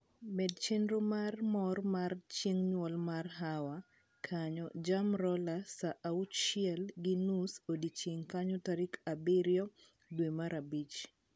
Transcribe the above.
med chenro mar mor mar chieng nyuol mar hawa kanyo jam roller saa auchiel gi nus odiechieng kanyo tarik abirio dwe mar abich